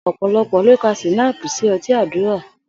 Ò̩pò̩lo̩pò̩ ló ka S̩ínáàpù sí o̩tí àdúrà